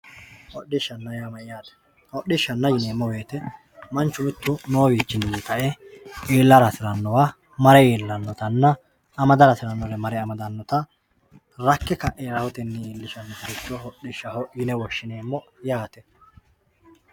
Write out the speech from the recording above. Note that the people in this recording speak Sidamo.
Hodhishana yaa mayate hodhishana yinemo woyite manchu mittu nowichini ka`e iilara hasiranowa mare ilanotana amadara hasiranore mare amadanota rakke kae rahoteni iilishanota ikiro hodhishaho yine woshinemmo yaate.